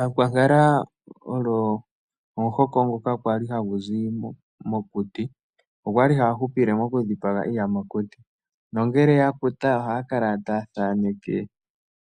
Aakwankala oyo omuhoko ngoka kwali hagu zi mokuti, okwa li haya hupile moku dhipaga iiyamakuti nongele ya ohaya kala taya thaaneke